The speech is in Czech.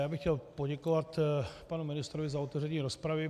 Já bych chtěl poděkovat panu ministrovi za otevření rozpravy.